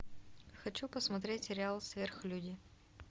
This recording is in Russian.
хочу посмотреть сериал сверхлюди